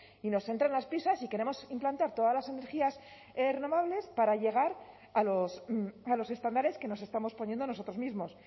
y nos entran las prisas y queremos implantar todas las energías renovables para llegar a los estándares que nos estamos poniendo a nosotros mismos